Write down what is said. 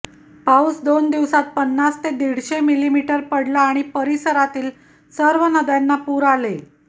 पाऊस दोन दिवसांत पन्नास ते दीडशे मिलिमीटर पडला आणि परिसरातील सर्व नद्यांना पूर आले